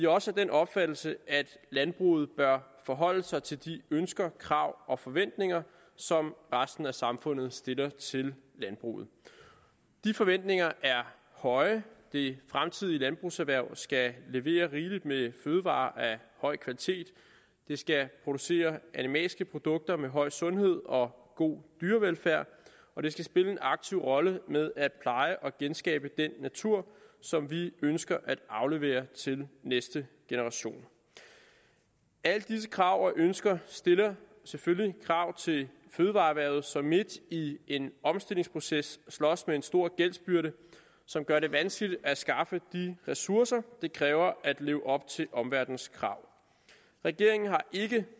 også af den opfattelse at landbruget bør forholde sig til de ønsker krav og forventninger som resten af samfundet stiller til landbruget de forventninger er høje det fremtidige landbrugserhverv skal levere rigeligt med fødevarer af høj kvalitet det skal producere animalske produkter med høj sundhed og god dyrevelfærd og det skal spille en aktiv rolle med at pleje og genskabe den natur som vi ønsker at aflevere til de næste generationer alle disse krav og ønsker stiller selvfølgelig krav til fødevareerhvervet som midt i en omstillingsproces slås med en stor gældsbyrde som gør det vanskeligt at skaffe de ressourcer det kræver at leve op til omverdenens krav regeringen har ikke